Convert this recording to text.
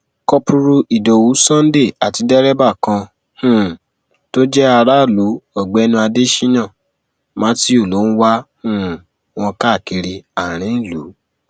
kọpùrú ìdòwú sunday àti dẹrẹbà kan um tó jẹ aráàlú ọgbẹni adéṣíyàn mathew ló ń wá um wọn káàkiri àárín ìlú